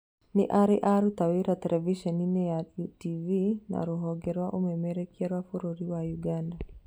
Nĩarĩ aruta wĩra terebiceni-ini ya UTV na rũhonge rwa ũmemerekia rwa bũrũri wa Ũganda